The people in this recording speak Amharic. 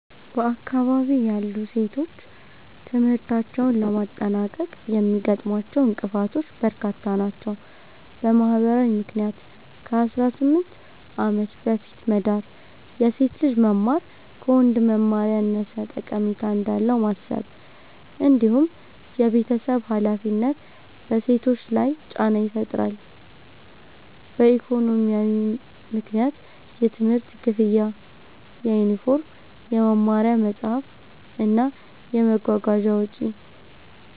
በአካባቢዬ ያሉ ሴቶች ትምህርታቸውን ለማጠናቀቅ የሚያጋጥሟቸው እንቅፋቶች በርካታ ናቸው። በማህበራዊ ምክንያት ከ18 ዓመት በፊት መዳር፣ የሴት ልጅ መማር ከወንድ መማር ያነሰ ጠቀሜታ እንዳለው ማሰብ፣ እንዲሁም የቤተሰብ ሃላፊነት በሴቶች ላይ ጫና ይፈጥራሉ። በኢኮኖሚያዊ ምክንያት የትምህርት ክፍያ፣ የዩኒፎርም፣ የመማሪያ መጽሐፍት እና የመጓጓዣ ወጪ